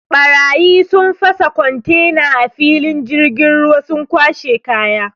Ɓarayi sun fasa kontena a filin jirgin ruwa sun kwashe kaya.